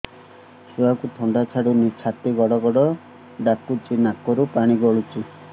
ଛୁଆକୁ ଥଣ୍ଡା ଛାଡୁନି ଛାତି ଗଡ୍ ଗଡ୍ ଡାକୁଚି ନାକରୁ ପାଣି ଗଳୁଚି